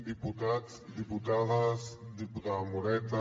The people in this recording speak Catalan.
diputats diputades diputada moreta